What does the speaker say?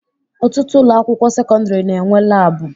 Ọtụtụ ụlọakwụkwọ sekọndịrị na-enwe laabụ